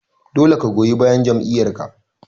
Dole ka goyi bayan jam'iyyar ka.